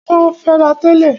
Wọ́n ń fẹ́ra tẹ́lẹ̀.